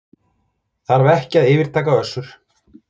Þarf ekki að yfirtaka Össur